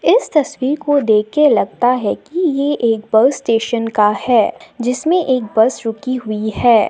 इस तस्वीर को देख के लगता है कि ये एक बस स्टेशन का है जिसमें एक बस रुकी हुई है।